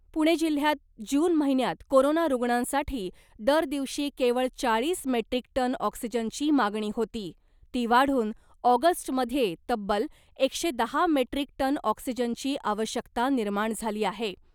पुणे जिल्ह्यात जून महिन्यात कोरोना रूग्णांसाठी दर दिवशी केवळ चाळीस मेट्रीक टन ऑक्सिजनची मागणी होती, ती वाढून ऑगस्टमध्ये तब्बल एकशे दहा मेट्रीक टन ऑक्सिजनची आवश्यकता निर्माण झाली आहे .